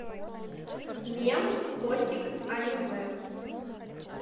мем котик аниме